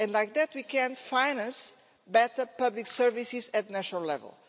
Like that, we can finance better public services at national level.